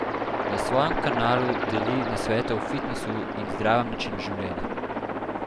Na svojem kanalu deli nasvete o fitnesu in zdravem načinu življenja.